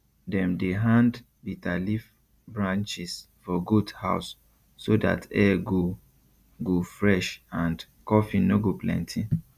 dem dey hand bitter leaf branches for goat house so that air go go fresh and coughing no go plenty